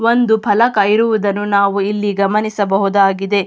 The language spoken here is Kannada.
ಒಂದು ಫಲಕ ಇರುವುದನ್ನು ನಾವು ಇಲ್ಲಿ ಗಮನಿಸಬಹುದಾಗಿದೆ.